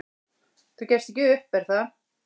"""Þú gefst ekki upp, er það?"""